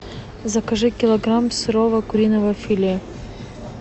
закажи килограмм сырого куриного филе